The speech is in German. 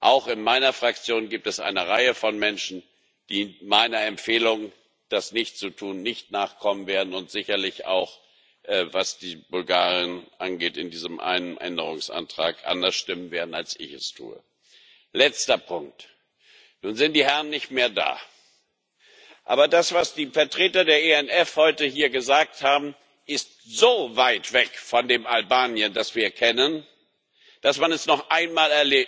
Auch in meiner Fraktion gibt es eine Reihe von Menschen, die meiner Empfehlung, das nicht zu tun, nicht nachkommen werden und sicherlich auch, was die Bulgaren angeht, in diesem einen Änderungsantrag, anders stimmen werden, als ich es tue. Letzter Punkt Nun sind die Herren nicht mehr da aber das, was die Vertreter der ENF heute hier gesagt haben, ist so weit weg von dem Albanien, das wir kennen, dass man es noch einmal